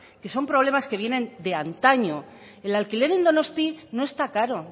que son problemas que vienen de antaño el alquiler en donostia no está caro